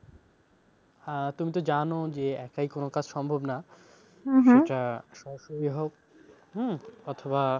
আহ তুমি তো জানো যে একাই কোন কাজ সম্ভব না, সরাসরি হোক হম অথবা